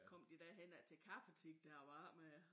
Kom de derhen af til kaffetid der var med